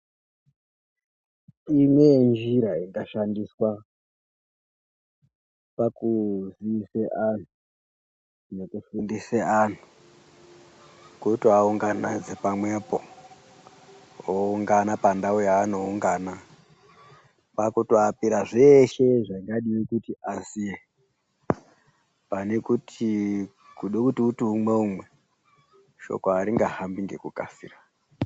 Imwe yenjira ingashandiswa pakuziise antu nokufundise antu, kutoaunganidza pamwepo, oungana pantau yaanoungana kwakutoapira zveshe zvingadii kuti azive. Pane kuti kuda kuti uite umwe umwe, shoko haringahambi ngekukasira.